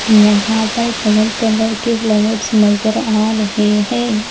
यहां पर colour colour के फ्लावर्स नजर आ रहे हैं।